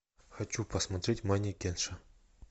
хочу посмотреть манекенша